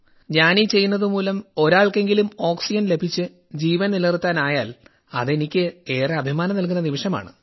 ഞാനീ ചെയ്യുന്നതു മൂലം ഒരാൾക്കെങ്കിലും ഓക്സിജൻ ലഭിച്ച് ജീവൻ നിലനിർത്താനായാൽ അത് എനിക്കേറെ അഭിമാനം നൽകുന്ന നിമിഷമാണ്